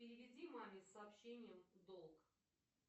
переведи маме с сообщением долг